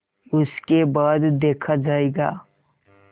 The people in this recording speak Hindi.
उसके बाद देखा जायगा